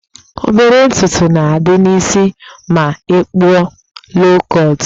Obere ntutu na-adị n'isi ma ị kpụọ loo kọtụ